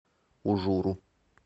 ужуру